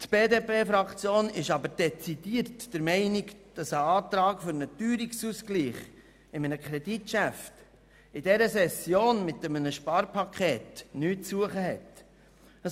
Die BDP-Fraktion ist aber dezidiert der Meinung, dass ein Antrag für einen Teuerungsausgleich in einem Kreditgeschäft in dieser Session – mit dem noch zu beratenden Sparpaket – nichts zu suchen hat.